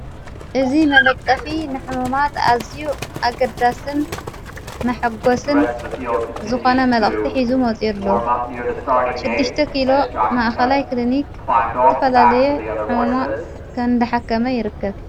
እዝ መነጠፊ ንሕሙማት ኣዝ ኣግዳስን መሐጐስን ዝኾነመልእኽቲ፤ ኂዙ መወፂኡ ኣሎ ሽድሽተ ኪሎ ማኣኸላይ ክሊኒኽ ዝትፈላለየ ሕሙማ እንድሓከመ ይርክብ።